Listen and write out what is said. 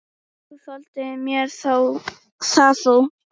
Þú þoldir mér það þó.